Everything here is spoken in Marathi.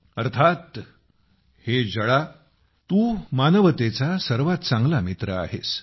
अर्थात् हे पाण्या तू मानवतेचा सर्वात चांगला मित्र आहेस